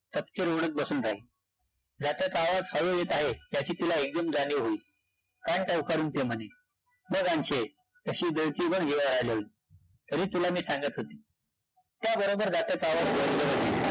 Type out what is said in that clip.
तपकिर ओढत बसून राहिली जात्याचा आवाज हळू-हळू येत आहे त्याची तिला एकदम जाणीव होईल, कान टवकारुन प्रेमाने, बघ, अन्शे कशी दळतीयं बघ, येळ आल्यावर, तरी तुला मी सांगत होते, त्याबरोबर जात्याचा आवाज